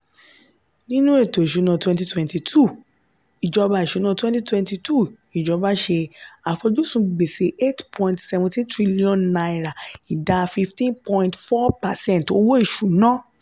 nínú èto ìṣúná twenty twenty two ìjọba ìṣúná twenty twenty two ìjọba ṣe àfojúsùn gbèsè ₦ eight point one seven trillion ìdá fifteen point four percent owó ìṣúná.